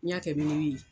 N'i y'a kɛ ye